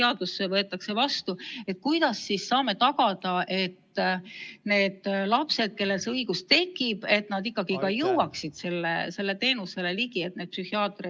Kui see seadus vastu võetakse, kuidas me siis saame tagada, et lapsed, kellel see õigus tekib, tõesti pääsevad sellele teenusele ligi?